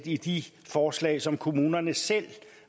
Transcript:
i de forslag som kommunerne selv